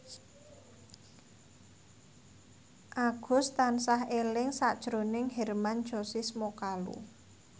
Agus tansah eling sakjroning Hermann Josis Mokalu